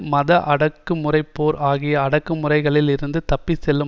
மத அடக்குமுறை போர் ஆகிய அடக்குமுறைகளில் இருந்து தப்பி செல்லும்